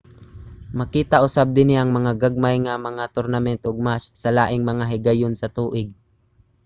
makita usab dinhi ang gagmay nga mga tournament ug match sa laing mga higayon sa tuig